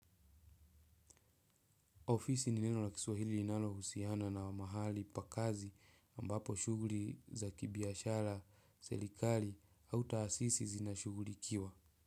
Ofisi ni neno la kiswahili inalo husiana na mahali pa kazi ambapo shuguli za kibiashara selikali hau taasisi zinashuguilikiwa.